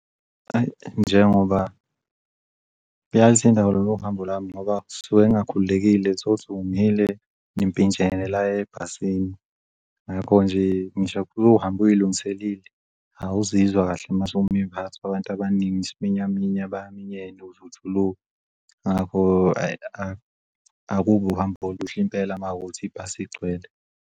Njengoba, yazi indaba yaloluhambo lwami ngoba ngisuke ngingakhululekile, thola ukuthi umile nimpintshene lana ebhasini. Ngakho nje ngisho uhambe uyilungiselile, awuzizwa kahle mase uphakathi kwabantu abaningi isiminyaminya baminyene uze ujuluke. Ngiyaluzwa ukuthi no, ayi, akubi uhambo oluhle impela makuwukuthi ibhasi igcwele.